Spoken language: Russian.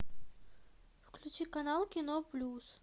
включи канал кино плюс